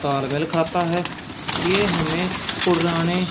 तालवेल खाता है ये हमें पुराने--